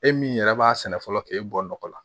E min yɛrɛ b'a sɛnɛ fɔlɔ k'e bɔ nɔgɔ la